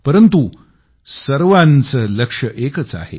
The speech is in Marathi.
परंतु सर्वांच लक्ष्य एकच आहे